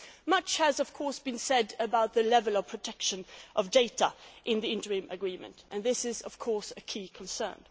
Much has been said about the level of protection of data in the interim agreement and this is, of course, a key concern.